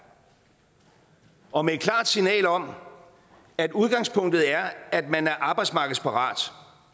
og med et klart signal om at udgangspunktet er at man er arbejdsmarkedsparat